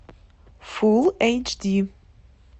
фулл эйч ди